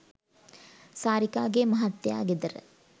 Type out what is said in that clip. සාරිකාගේ මහත්තයා ගෙදර